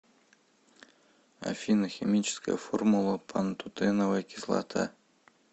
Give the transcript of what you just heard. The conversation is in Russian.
афина химическая формула пантотеновая кислота